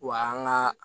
Wa an ka